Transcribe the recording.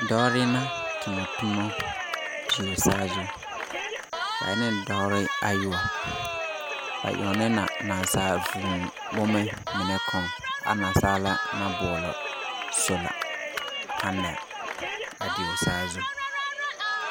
Dɔɔre na tona toma dieõ saazu da en dɔɔre ayoɔb. Ba yaonɛ na naasaal vũũ bomɛ minɛ kɔŋ a naasaala na boɔlɔ sola panɛl a dieõ saazu.